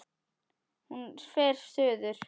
Hún fer suður.